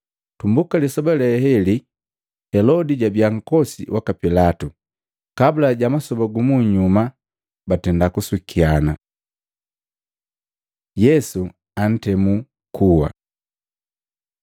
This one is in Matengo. Tumbuka lisoba le leli, Helodi jabia nkosi waka Pilatu, kabula ja masoba gu munyuma batenda kusukiana. Yesu antemu kuwa Matei 27:15-26; Maluko 15:6-15; Yohana 18:39-19:16